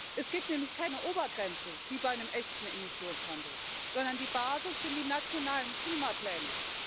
Es gibt nämlich keine Obergrenze wie bei einem echten Emissionshandel sondern die Basis sind die nationalen Klimapläne.